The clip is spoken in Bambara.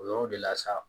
O yɔrɔ de la sa